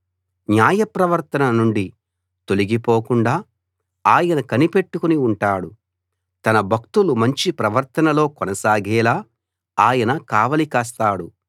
న్యాయ ప్రవర్తన నుండి తొలగిపోకుండా ఆయన కనిపెట్టుకుని ఉంటాడు తన భక్తులు మంచి ప్రవర్తనలో కొనసాగేలా ఆయన కావలి కాస్తాడు